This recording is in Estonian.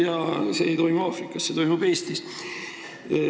Ja see ei toimu Aafrikas, see toimub Eestis.